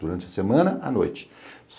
Durante a semana, à noite.